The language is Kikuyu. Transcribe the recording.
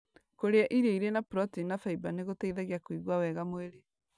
Kũrĩa irio irĩ na proteini na faiba nĩ gũteithagia kũigua wega mwĩrĩ.